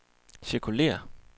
cirkulér